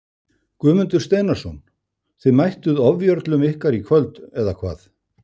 Guðmundur Steinarsson Þið mættuð ofjörlum ykkar í kvöld eða hvað?